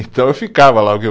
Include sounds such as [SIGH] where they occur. Então eu ficava lá. [UNINTELLIGIBLE]